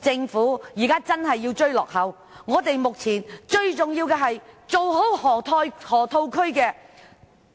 政府現在真的要迎頭趕上，目前最重要的，是好好處理河套區